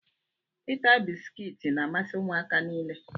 Ịta bisikiiti n'amasi ụmụaka nile.